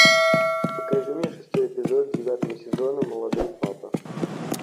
покажи мне шестой эпизод девятого сезона молодой папа